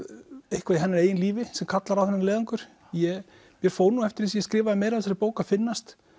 eitthvað í hennar eigin lífi sem kallar á þennan leiðangur mér fór nú eftir því sem ég skrifaði meira af þessari bók að finnast